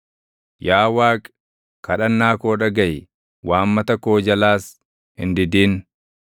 Yaa Waaqi, kadhannaa koo dhagaʼi; waammata koo jalaas hin didin.